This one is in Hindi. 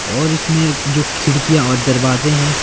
और इसमें जो खिड़कियां और दरवाजे हैं।